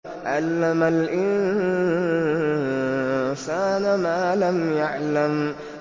عَلَّمَ الْإِنسَانَ مَا لَمْ يَعْلَمْ